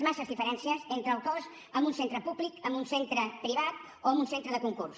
massa diferències entre el cost en un centre públic en un centre privat o en un centre de concurs